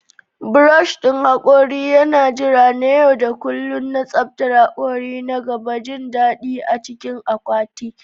Brush ɗin hakori yana jira na yau da kullun na tsaftar hakori na gaba, jin daɗi a cikin akwati.